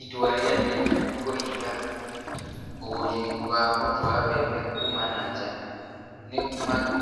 Itua ria kenya kũhinga ũgũri wa mũtu wa mbembe kuma na nja,